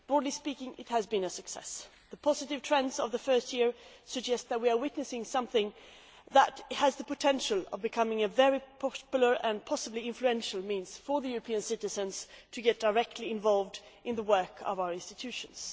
Broadly speaking it has been a success. The positive trends of the first year suggest that we are witnessing something which has the potential to become a very popular, and possibly influential, means of enabling European citizens to get directly involved in the work of our institutions.